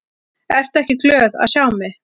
Ertu ekki glöð að sjá mig?